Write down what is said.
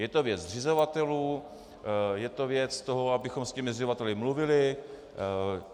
Je to věc zřizovatelů, je to věc toho, abychom s těmi zřizovateli mluvili.